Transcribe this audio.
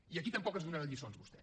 i aquí tampoc ens donarà lliçons vostè